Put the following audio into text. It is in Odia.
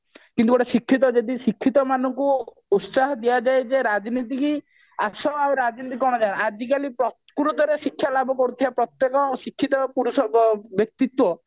କିନ୍ତୁ ଗୋଟେ ଶିକ୍ଷିତ ଯଦି ଶିକ୍ଷିତ ମାନଙ୍କୁ ଉତ୍ସାହିତ ଦିଆଯାଏ ଯେ ରାଜନୀତିକୁ ଆସ ଏବଂ ରାଜନୀତି କଣ ଜାଣ ଆଜିକାଲି ପ୍ରକୃତରେ ଶିକ୍ଷାଲାଭ କରୁଥିବା ପ୍ରତେକଶିକ୍ଷିତ ପୁରୁଷ ବ୍ୟକ୍ତିତ୍ବ